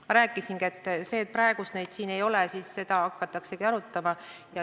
Ma rääkisingi, et jah, praegu neid siin ei ole ja seda hakataksegi arutama.